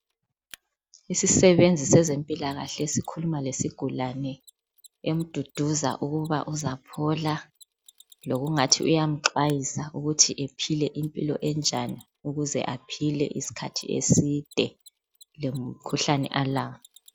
Isisebenzi sezempilakahle sikhuluma lesigulane emduduza ukuba uzaphola lokungathi uyamxwayisa ukuthi ephile impilo enjani ukuze aphile isikhathi eside lomkhuhlane alawo.